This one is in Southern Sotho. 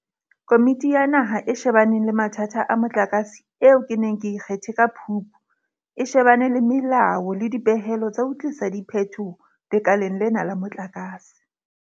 Komiti ya Naha e She baneng le Mathata a Motlakase eo ke neng ke e kgethe ka Phupu, e shebana le melao le dipehelo tsa ho tlisa diphetoho lekaleng lena la motlakase.